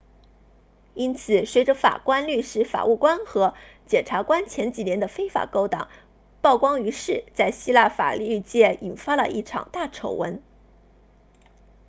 因此随着法官律师法务官和检察官前几年的非法勾当曝光于世在希腊法律界引发了一场大丑闻